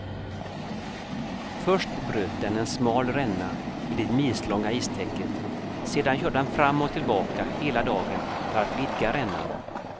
Först bröt den en smal ränna i det milslånga istäcket, sedan körde den fram och tillbaka hela dagen för att vidga rännan.